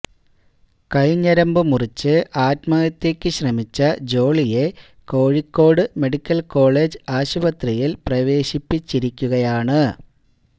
കൈ ഞരമ്പ് മുറിച്ച് ആത്മഹത്യക്ക് ശ്രമിച്ച ജോളിയെ കോഴിക്കോട് മെഡിക്കൽ കോളേജ് ആശുപത്രിയിൽ പ്രവേശിപ്പിച്ചിരിക്കുകയാണ്